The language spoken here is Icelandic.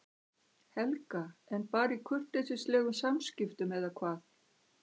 Helga: En bara í kurteisislegum samskiptum eða hvað?